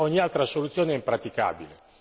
Ogni altra soluzione è impraticabile.